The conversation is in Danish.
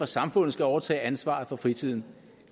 samfundet skal overtage ansvaret for fritiden